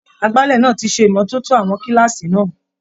Agbálẹ̀ náà ti ṣe ìmọ́tótó àwọn kílààsì náà.